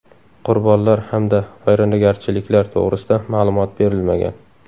Qurbonlar hamda vayronagarchiliklar to‘g‘risida ma’lumot berilmagan.